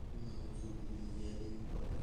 kʋ owu tsoku dɩnɩ bɩ alɛ ivu kʋ ɔlɛ